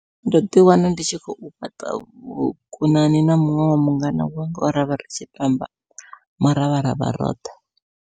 Ndo ḓi wana ndi tshi khou fhaṱa vhukonani na muṅwe wa mungana wanga we ravha ri tshi tamba muravharavha roṱhe.